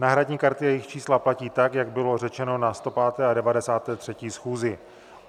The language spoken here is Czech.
Náhradní karty a jejich čísla platí tak, jak bylo řečeno na 105. a 93. schůzi.